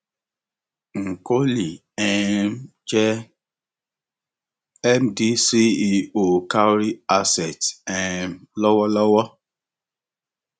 nkoli um jẹ mdceo cowry asset um lọwọlọwọ